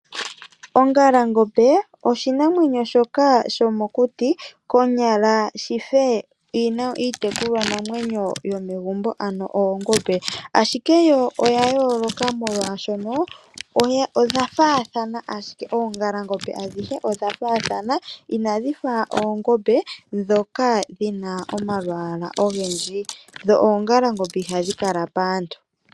Ongalangombe, oshinamwenyo shoka sho mokuti konyala shife iitekulwa namwenyo yomegumbo, ano oongombe. Ashike yo oya yooloka molwaashono, odha faathana ashike, oongalangombe adhihe odha faathana, inadhi fa oongombe dhoka dhina omalwaala ogendji. Dho ongalangombe ihadhi kala paantu.